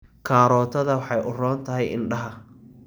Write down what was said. Karootada waxay u roon tahay indhaha.